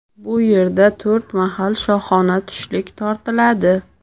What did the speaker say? Bu yerda to‘rt mahal shohona tushlik tortiladi.